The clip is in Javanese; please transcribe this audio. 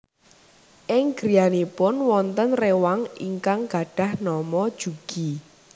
Ing griyanipun wonten réwang ingkang gadhah nama Jugi